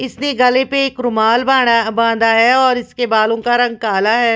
इसने गले पर एक रुमाल बंधा बांधा है और इसके बालों का रंग काला है।